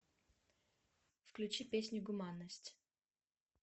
включи песню гуманность